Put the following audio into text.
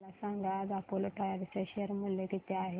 मला सांगा आज अपोलो टायर्स चे शेअर मूल्य किती आहे